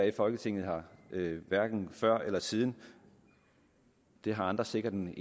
i folketinget hverken før eller siden det har andre sikkert en